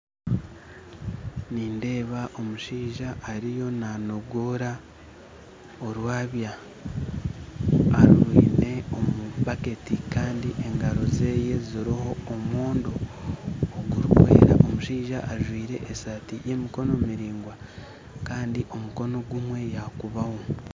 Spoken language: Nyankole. Nindeeba omushaija ariyo nanogoora orwabya arwine omu bakeeti kandi engaro ze ziriho omwoondo ogurikwera. Omushaija anjwire esaati y'emikono miraigwa kandi omukono gumwe yagukubaaho